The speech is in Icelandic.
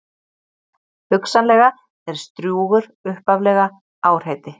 Hugsanlega er Strjúgur upphaflega árheiti.